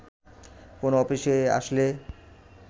কোন অফিসে আসলে